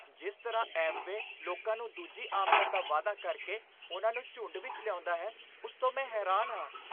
ਜਿਸ ਤਰ੍ਹਾਂ 'ਐਮਵੇ' ਲੋਕਾਂ ਨੂੰ ਦੂਜੀ ਆਮਦਨ ਦਾ ਵਾਅਦਾ ਕਰਕੇ ਉਨ੍ਹਾਂ ਦੇ ਝੁੰਡ ਵਿੱਚ ਲਿਆਉਂਦਾ ਹੈ, ਉਸ ਤੋਂ ਮੈਂ ਹੈਰਾਨ ਹਾਂ।